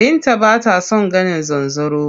Binta b ata son ganin zanzaro.